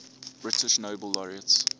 british nobel laureates